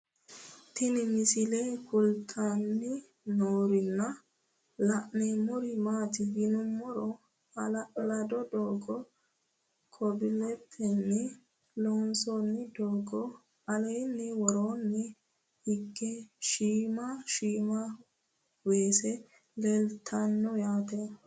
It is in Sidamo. Tinni misile kulittanni noorrinna la'nanniri maattiya yinummoro hala'lado doogo kobilettinni loonsoonni doogo alenna woroonni higge shiimma shiimma weese leelittanno yaatte